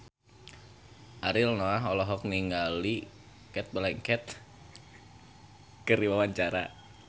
Ariel Noah olohok ningali Cate Blanchett keur diwawancara